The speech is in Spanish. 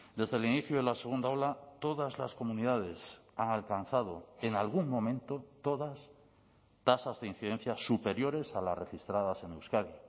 desde el inicio de la segunda ola todas las comunidades han alcanzado en algún momento todas tasas de incidencia superiores a las registradas en euskadi